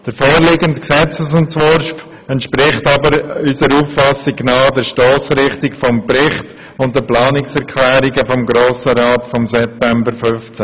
Der vorliegende Gesetzesentwurf entspricht jedoch nach unserer Auffassung der Stossrichtung des Berichts und der Planungserklärungen des Grossen Rats vom September 2015.